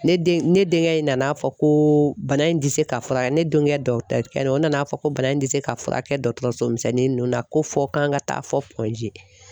Ne den ne denkɛ in nana fɔ ko bana in tɛ se ka fura kɛ ne denkɛ dɔtɛrikɛ in o nana fɔ ko bana in tɛ se ka fura kɛ dɔtɔrɔso misɛnnin ninnu na ko fɔ an ka taa fɔ G.